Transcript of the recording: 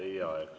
Aitäh!